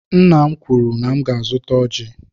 Nna m kwuru na m ga-azụta ọjị.